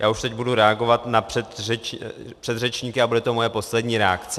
Já už teď budu reagovat na předřečníky a bude to moje poslední reakce.